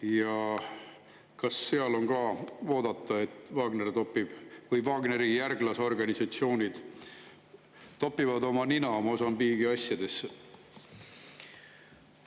Ja kas seal on ka oodata, et Wagner või Wagneri järglasorganisatsioonid topivad oma nina Mosambiigi asjadesse?